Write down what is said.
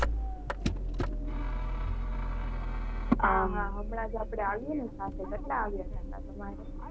હા હા હમણાં જ આપણે આવીને સાથે. કેટલા આવ્યા છે તમારે?